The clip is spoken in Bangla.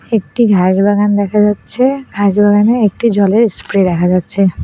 একটি ঘাসবাগান দেখা যাচ্ছে ঘাসবাগানে একটি জলের স্প্রে দেখা যাচ্ছে।